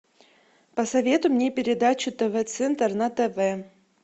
посоветуй мне передачу тв центр на тв